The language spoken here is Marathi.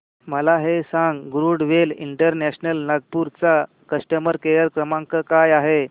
मला हे सांग गरुडवेग इंटरनॅशनल नागपूर चा कस्टमर केअर क्रमांक काय आहे